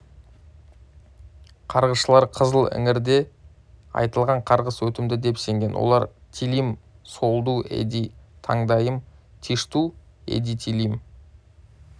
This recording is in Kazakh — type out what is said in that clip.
қарғысшылары қызыл іңірде айтылған қарғыс өтімді деп сенген олар тилим соолду эди тандайым тишту эдитилим